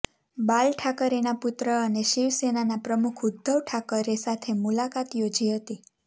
બાલ ઠાકરેના પુત્ર અને શિવ સેનાના પ્રમુખ ઉદ્ધવ ઠાકરે સાથે મુલાકાત યોજી હતી